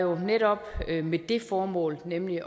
var netop med det formål nemlig